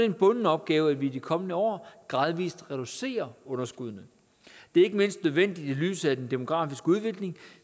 en bunden opgave at vi i de kommende år gradvis reducerer underskuddene det er ikke mindst nødvendigt i lyset af den demografiske udvikling